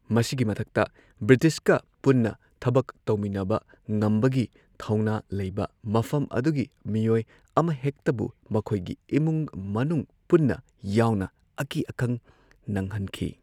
ꯃꯁꯤꯒꯤ ꯃꯊꯛꯇ ꯕ꯭ꯔꯤꯇꯤꯁꯀ ꯄꯨꯟꯅ ꯊꯕꯛ ꯇꯧꯃꯤꯟꯅꯕ ꯉꯝꯕꯒꯤ ꯊꯧꯅꯥ ꯂꯩꯕ, ꯃꯐꯝ ꯑꯗꯨꯒꯤ ꯃꯤꯑꯣꯏ ꯑꯃꯍꯦꯛꯇꯕꯨ ꯃꯈꯣꯏꯒꯤ ꯏꯃꯨꯡ ꯃꯅꯨꯡ ꯄꯨꯟꯅ ꯌꯥꯎꯅ ꯑꯀꯤ ꯑꯈꯪ ꯅꯪꯍꯟꯈꯤ꯫